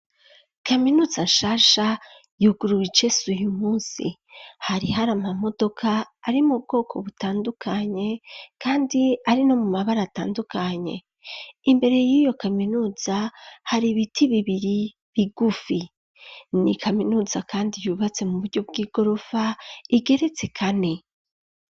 Kaminuza shasha yuguruwe icese uyu munsi, hari har'ama modoka ari mu bwoko butandukanye kandi ari no mu mabara atandukanye, imbere y'iyo kaminuza hari ibiti bibiri bigufi ,ni kaminuza kandi yubatse mu buryo bw'igorofa igeretse kane.